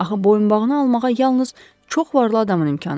Axı boyunbağını almağa yalnız çox varlı adamın imkanı çatar.